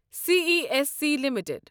C E S C limited